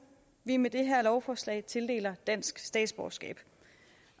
vi med det her lovforslag tildeler dansk statsborgerskab